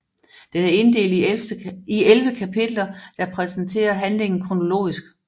Den er inddelt i 11 kapitler der præsenterer handlingen kronologisk